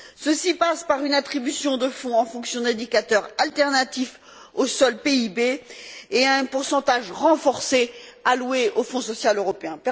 Ceci passe par une attribution de fonds en fonction d'indicateurs alternatifs au seul PIB et un pourcentage renforcé alloué au Fonds social européen.